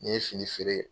N ye fini feere